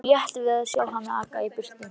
Honum létti við að sjá hana aka í burtu.